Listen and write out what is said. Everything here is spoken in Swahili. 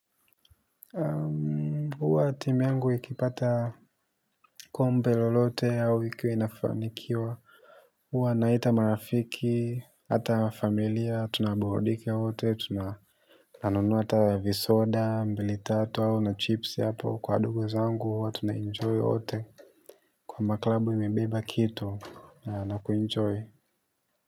Huwa timu yangu ikipata kombe lolote au ikiwa inafanikiwa. Huwa naita marafiki, hata familia, tunaburudike wote, tunanunua hata visoda, mbili tatu au na chipsi hapo. Kwa ndugu zangu, huwa tunaenjoy wote. Kwa maklabu imebeba kitu na kuenjoy.